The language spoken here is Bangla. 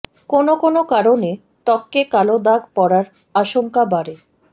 কোন কোন কারণে ত্বকে কালো দাগ পড়ার আশঙ্কা বাড়ে